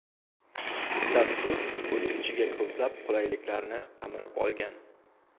Dastur o‘z ichiga ko‘plab qulayliklarni qamrab olgan.